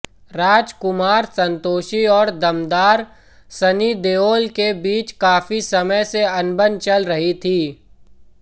राजकुमार संतोषी और दमदार सन्नी देओल के बीच काफी समय से अनबन चल रही थी